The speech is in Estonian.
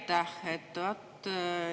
Aitäh!